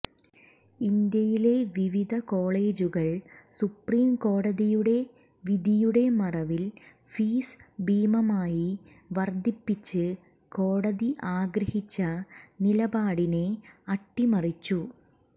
ഇന്ത്യയിലെ വിവിധ കോേളജുകൾ സുപ്രീംകോടതിയുടെ വിധിയുടെ മറവിൽ ഫീസ് ഭീമമായി വർദ്ധിപ്പിച്ച് കോടതി ആഗ്രഹിച്ച നിലപാടിനെ അട്ടിമറിച്ചു